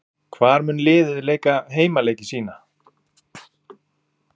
Hvar mun liðið leika heimaleiki sína?